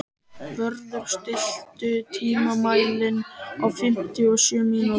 Vörður, stilltu tímamælinn á fimmtíu og sjö mínútur.